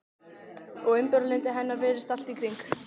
Og umburðarlyndi hennar virðist allt í kring.